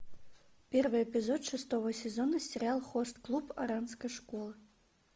первый эпизод шестого сезона сериал хост клуб оранской школы